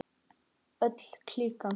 Öll klíkan.